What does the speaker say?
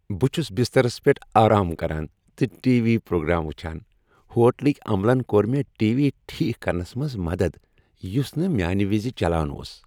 بہٕ چھس بسترس پیٹھ آرام کران تہٕ ٹی وی پروگرام وُچھان۔ ہوٹلٕکۍ عملن كو٘ر مے٘ ٹی وی ٹھیك كرنس منز مدد یُس نہٕ میانہِ وِزِ چلان اوس ۔